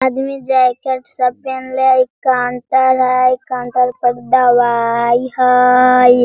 आदमी जैकेट सब पेहेनले हई काउंटर हई काउंटर पर दवाई हई ।